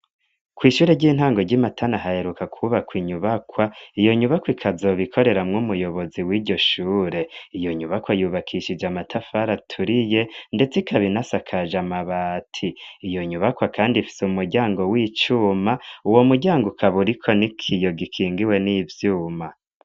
Kw'ishure ry'intango ry'imatana haheruka kwubakwa inyubakwa iyo nyubakwa ikazobikoreramwo umuyobozi w'iryo shure iyo nyubakwa yubakishije amatafari aturiye, ndetse ikabinasakaje amabati iyo nyubakwa, kandi ifise umuryango w'icuma uwo muryango ukaburiko ni kiyo gikingiwe n'ivyuma.